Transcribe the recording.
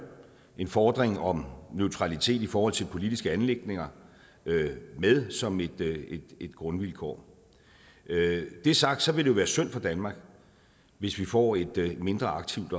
en fordring om neutralitet i forhold til politiske anliggender med som et grundvilkår når det er sagt vil det jo være synd for danmark hvis vi får et mindre aktivt